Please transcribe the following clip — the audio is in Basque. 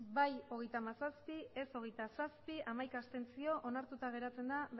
bai hogeita hamazazpi ez hogeita zazpi abstentzioak hamaika onartuta geratzen da